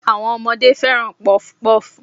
Àwọn ọmọdé fẹ́ràn Pọfupọ́ọ̀fù.